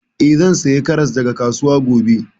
Eh, zan saya karas daga kasuwa gobe